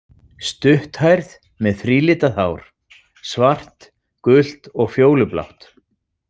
Stutthærð með þrílitað hár: svart, gult og fjólublátt.